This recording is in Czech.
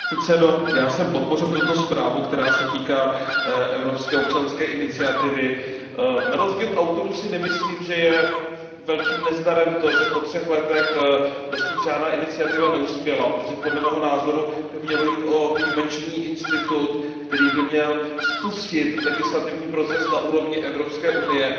Pane předsedající, já jsem podpořil tuto zprávu, která se týká evropské občanské iniciativy. Na rozdíl od autorů si nemyslím, že je velkým nezdarem to, že po třech letech dosud žádná iniciativa neuspěla, protože podle mého názoru by mělo jít o výjimečný institut, který by měl spustit legislativní proces na úrovni Evropské unie.